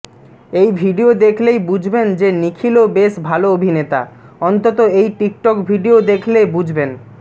এই ভিডিও দেখলেই বুঝবেন যে নিখিলও বেশ ভাল অভিনেতা অন্তত এই টিকটিক ভিডিও দেখলেই বুঝবেন